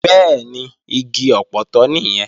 Bẹ́ẹ̀ni, igi ọpọtọ nìyẹn